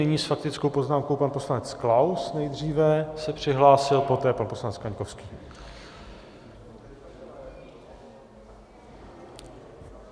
Nyní s faktickou poznámkou pan poslanec Klaus, nejdříve se přihlásil, poté pan poslanec Kaňkovský.